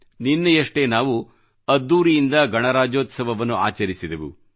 ನಿನ್ನೆಯಷ್ಟೇ ನಾವು ಅದ್ದೂರಿಯಿಂದ ಗಣರಾಜ್ಯೋತ್ಸವವನ್ನು ಆಚರಿಸಿದೆವು